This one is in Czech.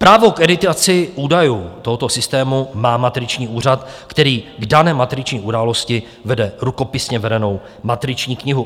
Právo k editaci údajů tohoto systému má matriční úřad, který k dané matriční události vede rukopisně vedenou matriční knihu.